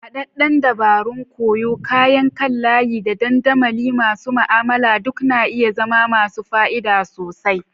Haɗaɗɗen dabarun koyo, kayan kan layi, da dandamali masu ma'amala duk na iya zama masu fa'ida sosai.